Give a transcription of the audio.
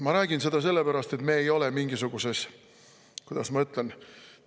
Ma räägin seda sellepärast, et me ei ole mingisuguses – kuidas ma ütlen?